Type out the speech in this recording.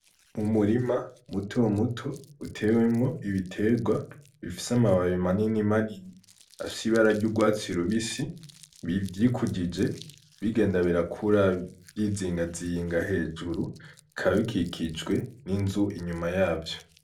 Umurima muto muto utewemwo ibiterwa bifise amababi manini manini afise ibara ry'urwatsi rubisi vyikujije bigenda birakura vyizingazinga hejuru bikaba bikikijwe n'inzu inyuma yavyo.